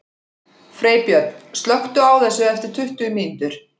Freybjörn, slökktu á þessu eftir tuttugu mínútur.